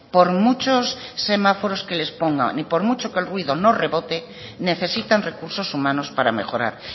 por muchos semáforos que les pongan y por mucho que el ruido no rebote necesitan recursos humanos para mejorar